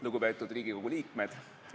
Lugupeetud Riigikogu liikmed!